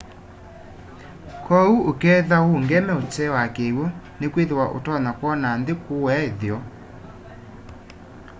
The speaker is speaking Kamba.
kwoou ukethwa uungeme utee wa kiw'u nikwithwa utonya kwona nthi kuua itheo